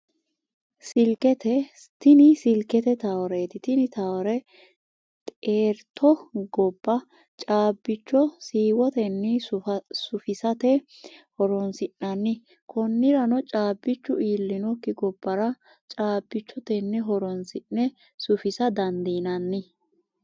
Silikete, tini silikete tawooreti, tini tawoore xeerito goba caabicho shiwotenni sufisate horonsinanni koniranno caabichu iillinokki gobara caabicho tene horonsi'ne sufisa dandinanni